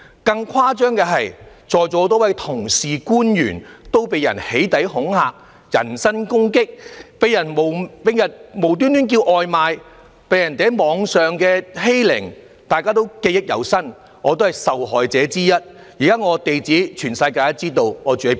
更誇張的是，在座有多位同事和官員被人"起底"恐嚇、人身攻擊，被人冒名叫外賣，又被人在網上欺凌，對此大家也記憶猶新，而我也是受害者之一，現時全世界也知道我的地址。